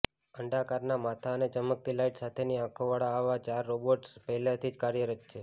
અંડાકારના માથા અને ચમકતી લાઇટ સાથેની આંખોવાળા આવા ચાર રોબોટ્સ પહેલાથી જ કાર્યરત છે